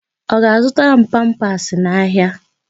Ọ ga-azụtara m pampasị n'ahịa?